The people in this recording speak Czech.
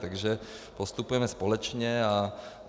Takže postupujeme společně.